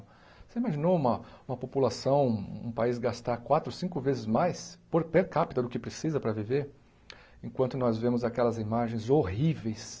Você imaginou uma uma população, um país, gastar quatro, cinco vezes mais por per capita do que precisa para viver enquanto nós vemos aquelas imagens horríveis